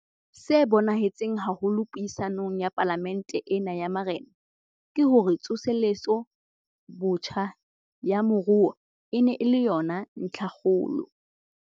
Se bonahetseng haholo puisanong ya Palamente ena ya Marena, ke hore tsoseletso botjha ya moruo e ne e le yona ntlhakgolo.